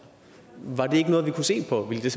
var det ikke noget vi kunne se på ville det